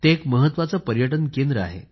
एक महत्वाचे पर्यटन केंद्र आहे